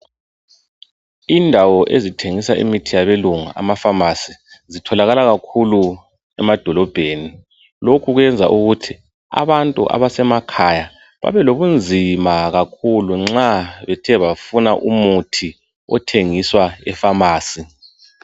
Indawo ezithengisa imithi yabelungu ama"pharmacy",zitholakala kakhulu emadolobheni. Lokhu kwenza ukuthi abantu abasemakhaya babelobunzima kakhulu nxa bethe bafuna umuthi othengiswa e"pharmacy "